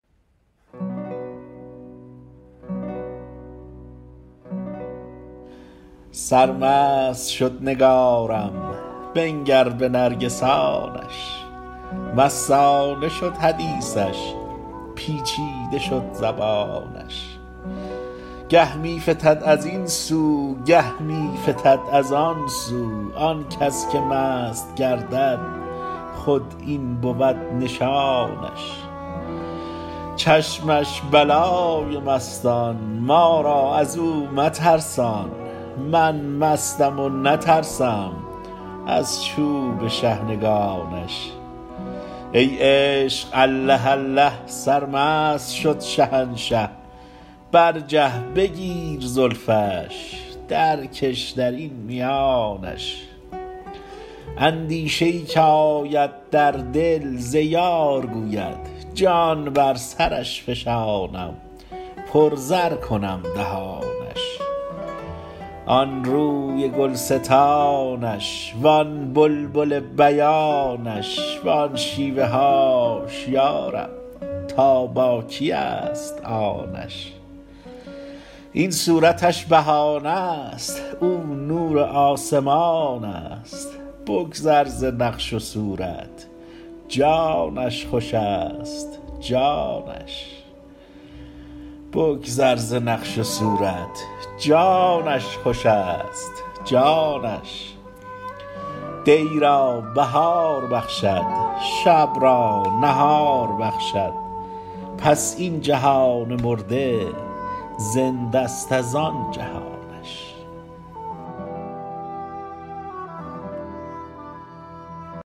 سرمست شد نگارم بنگر به نرگسانش مستانه شد حدیثش پیچیده شد زبانش گه می فتد از این سو گه می فتد از آن سو آن کس که مست گردد خود این بود نشانش چشمش بلای مستان ما را از او مترسان من مستم و نترسم از چوب شحنگانش ای عشق الله الله سرمست شد شهنشه برجه بگیر زلفش درکش در این میانش اندیشه ای که آید در دل ز یار گوید جان بر سرش فشانم پرزر کنم دهانش آن روی گلستانش وان بلبل بیانش وان شیوه هاش یا رب تا با کیست آنش این صورتش بهانه ست او نور آسمانست بگذر ز نقش و صورت جانش خوشست جانش دی را بهار بخشد شب را نهار بخشد پس این جهان مرده زنده ست از آن جهانش